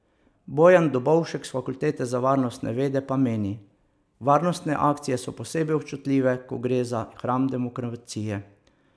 Bojan Dobovšek s fakultete za varnostne vede pa meni: 'Varnostne akcije so posebej občutljive, ko gre za hram demokracije.